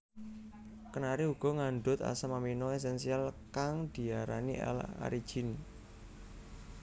Kenari uga ngandhut asam amino esensial kang diarani L arginine